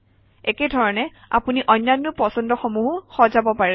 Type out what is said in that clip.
একে ধৰণে আপুনি অন্যান্য পছন্দসমূহো সজাব পাৰে